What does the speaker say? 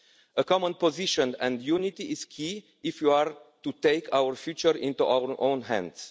A common position and unity is key if you are to put our future into our own hands.